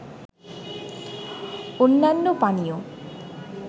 অন্যান্য পানীয়